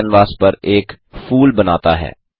turtle canvas पर एक फूल बनाता है